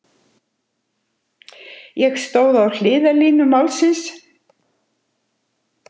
Ég stóð á hliðarlínu málsins.